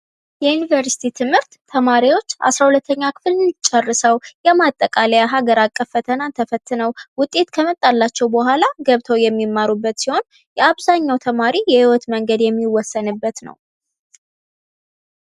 የዩኒቨርሲቲ ትምህርት ተማሪዎች አስራ ሁለተኛ ክፍልን ጨርሰው የማጠቃለያ ሃገር አቀፍ ፈተናን ተፈትነው ውጤት ከመጣላቸው በኋላ ገብተው የሚማሩበት ሲሆን፤ የአብዛኛው ተማሪ የሕይወት መንገድ የሚወሰንበት ነው።